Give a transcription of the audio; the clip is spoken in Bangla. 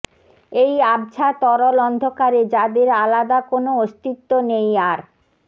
এই আবছা তরল অন্ধকারে যাদের আলাদা কোনও অস্তিত্ব নেই আর